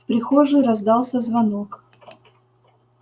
в прихожей раздался звонок